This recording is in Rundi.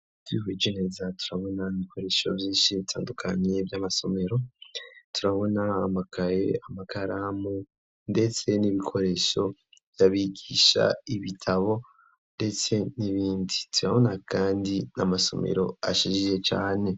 Ti koijeneza turabona ibikoresho vyinshi bitandukanyi vy'amasomero turabona amakaye amakaramu, ndetse n'ibikoresho yabigisha ibitabo, ndetse n'ibindi zibabona, kandi n'amasomero ashijije cane.